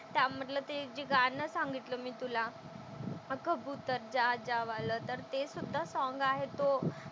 त्यामधलं ते जे गाणं सांगितलं मी तुला कबुतर जा जा वालं तर तेसुद्धा सॉंग आहे तो,